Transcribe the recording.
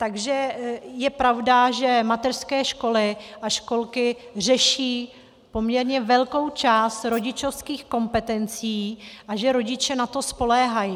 Takže je pravda, že mateřské školy a školky řeší poměrně velkou část rodičovských kompetencí a že rodiče na to spoléhají.